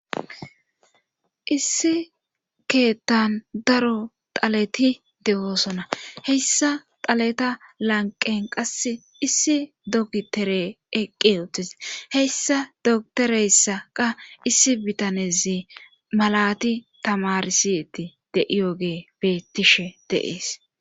Issi keeththan daro xaleti de7oosona heyssa taleta lanqen qasse issi dokitere eqqi utis heyssa doktoreyssaqa issi bitanezi malati tamarisietti de7iyoge beettishe deees.